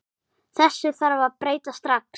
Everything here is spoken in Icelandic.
Þessu þarf að breyta strax.